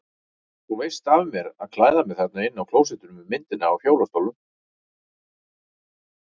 Þú veist af mér að klæða mig þarna inni á klósettinu með myndinni af hjólastólnum.